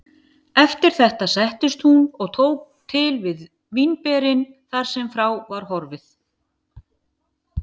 Eftir þetta settist hún og tók til við vínberin þar sem frá var horfið.